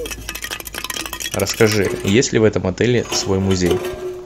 расскажи есть ли в этом отеле свой музей